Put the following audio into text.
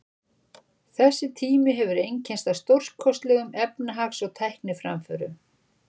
Þessi tími hefur einkennst af stórkostlegum efnahags- og tækniframförum.